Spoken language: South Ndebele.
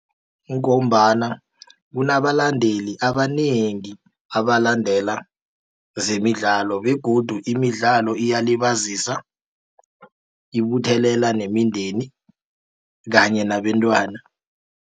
Kungombana kunabalandeli abanengi abalandela zemidlalo begodu imidlalo iyalibazisa ibuthelela nemindeni kanye nabentwana.